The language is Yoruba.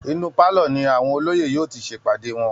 Inú pálọ̀ ni àwọn olóyè yóò ti ṣe ìpàdé wọn